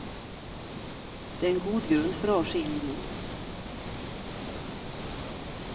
Det är en god grund för avskiljning.